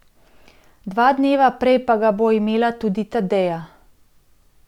Dva dneva prej pa ga bo imela tudi Tadeja.